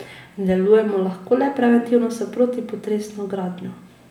Delujemo lahko le preventivno, s protipotresno gradnjo.